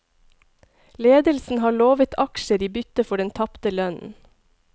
Ledelsen har lovet aksjer i bytte for den tapte lønnen.